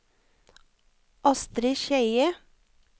Astri Skeie